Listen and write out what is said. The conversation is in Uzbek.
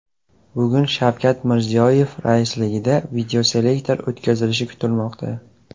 Bugun Shavkat Mirziyoyev raisligida videoselektor o‘tkazilishi kutilmoqda.